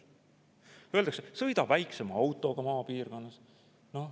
Öeldakse, sõida väiksema autoga maapiirkonnas.